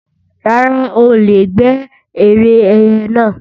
Rárá, o ò lè gbé ère ẹyẹ náà